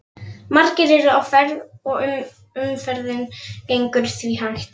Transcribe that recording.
Margir eru á ferð og umferðin gengur því hægt.